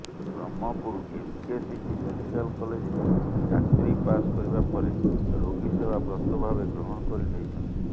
Brahmapur MKCG medical କଲେଜରୁ ଡାକ୍ତରୀ pass କରିବା ପରେ ରୋଗୀସେବା ବ୍ରତ ଭାବେ ଗ୍ରହଣ କରି ନେଇଛନ୍ତି